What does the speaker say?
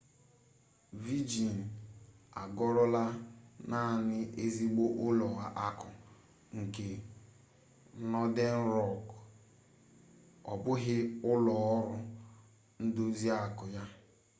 vejịn egorola naanị 'ezigbo ụlọ akụ' nke nọden rọk ọ bụghị ụlọ ọrụ ndozi akụ ya